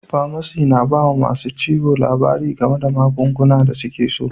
Pamasi na ba ma masun ciwo labari game da magunguna da suke sa.